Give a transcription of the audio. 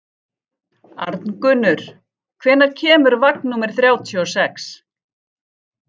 Arngunnur, hvenær kemur vagn númer þrjátíu og sex?